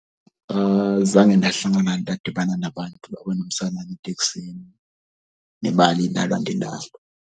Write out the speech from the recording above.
Zange ndahlangana ndadibana nabantu abanomtsalane eteksini nebali .